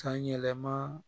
Kanyɛlɛma